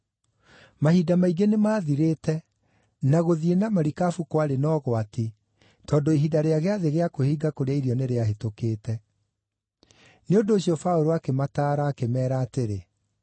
Mahinda maingĩ nĩmathirĩte, na gũthiĩ na marikabu kwarĩ na ũgwati tondũ ihinda rĩa Gĩathĩ gĩa Kwĩhinga kũrĩa Irio nĩrĩahĩtũkĩte. Nĩ ũndũ ũcio Paũlũ akĩmataara akĩmeera atĩrĩ,